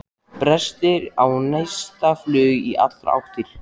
Brestir og neistaflug í allar áttir.